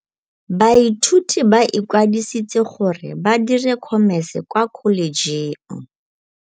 Baithuti ba ikwadisitse gore ba dire Khomese kwa Kholetšheng.